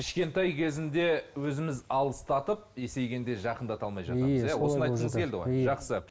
кішкентай кезінде өзіміз алыстатып есейгенде жақындатата алмай жатамыз иә жақсы